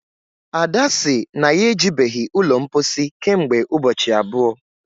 ada sị na ya ejibeghị ụlọ mposi kemgbe ụbọchị abụọ